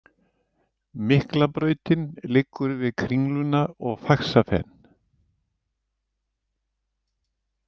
Miklabrautin liggur við Kringluna og Faxafen.